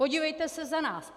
Podívejte se za nás.